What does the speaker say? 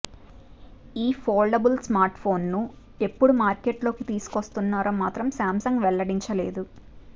ఈ ఫోల్డబుల్ స్మార్ట్ఫోన్ను ఎప్పుడు మార్కెట్లోకి తీసుకొస్తున్నారో మాత్రం సామ్సంగ్ వెల్లడించలేదు